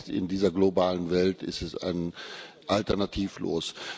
Angesichts dieser globalen Welt ist er alternativlos.